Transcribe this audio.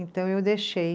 Então eu deixei.